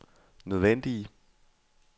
nødvendige